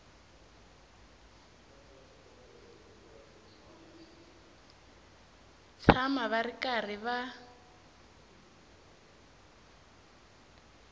tshama va ri karhi va